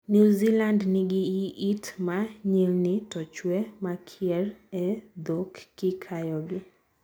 New Zealand nigi yiit ma nyilni to chwe makier e dhok kikayogi.